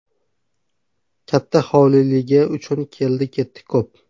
Katta hovliligi uchun keldi-ketdi ko‘p.